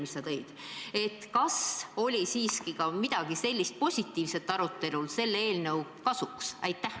Kas komisjoni arutelus leiti selles eelnõus siiski ka midagi positiivset, mis räägib eelnõu kasuks?